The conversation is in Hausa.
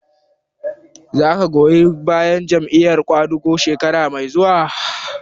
Za ka goyi bayan Jam'iyar ƙwadago shekara mai zuwa?